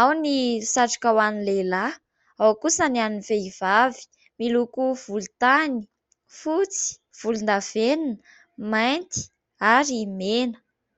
ao ny satroka ho an'ny lehilahy, ao kosa ny an'ny vehivavy, miloko volontany, fotsy volondavenona, mainty ary mena.